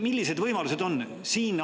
Millised need võimalused on?